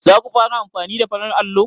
Zaku fara amfani da farar allo?